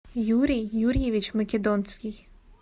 юрий юрьевич македонский